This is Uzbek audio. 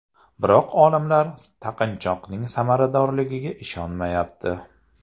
Biroq olimlar taqinchoqning samaradorligiga ishonmayapti.